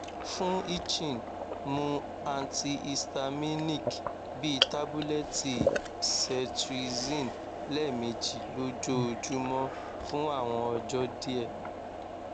fun itching mu antihistaminic bi tabulẹti cetrizine lẹmeji lojoojumọ fun awọn ọjọ diẹ